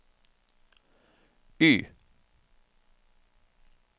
Y